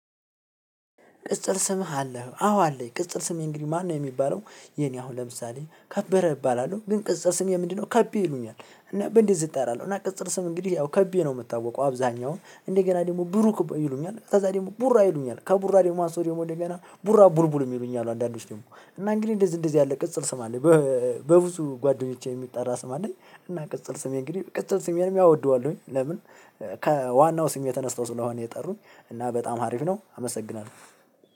ቅጽል ስምህ አለህ አዎ አለኝ ቅጽል ስምህ እንግዲህ ማነው? የሚባለው የኔ አሁን ለምሳሌ ከበረ እባላለሁ ግን ቅጽል ስሜ ምንድነው? ከቢ ይሉኛል እና በእንደዚህ እጠራለሁ እና ቅጸል ስም እንግዲህ ያው ከቤ ነው የምታወቀው አብዛኛውን እንደገና ደግሞ ብሩክ ይሉኛል ከዛ ደግሞ ቡራ ይሉኛል ከቡራ ደግሞ አንስተው ደግሞ እንደገና ቡራ ቡርቡል የሚሉኝ አሉ አንዳንዶች ደግሞ እና እንግዲህ እንደዚህ እንደዚህ ያለ ቅጽል ስም አለኝ። በብዙ ጓደኞቼ የሚጠራ ስም አለኝ እና ቅጽል ስሜ እንግዲህ ቅጽል ስሜንም ያወደዋል። ለምን? ከዋናው ስሜ ተነስተው ስለሆነ የጠሩኝ እና በጣም ሀሪፍ ነው አመሰግናለሁ።